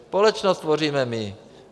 Společnost tvoříme my.